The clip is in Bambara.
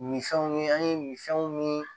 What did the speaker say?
Minfɛnw ye an ye min fɛnw min